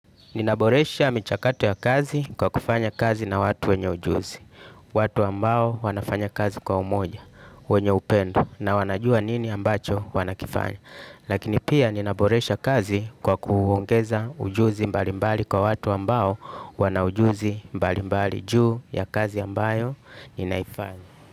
Ninaboresha michakato ya kazi kwa kufanya kazi na watu wenye ujuzi. Watu ambao wanafanya kazi kwa umoja, wenye upendo na wanajua nini ambacho wanakifanya. Lakini pia ninaboresha kazi kwa kuongeza ujuzi mbali mbali kwa watu ambao wana ujuzi mbali mbali juu ya kazi ambayo ninaifanya.